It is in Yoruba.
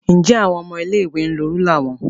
Njẹ awọn ọmọ ilé-ìwé n lo rúlà wọn?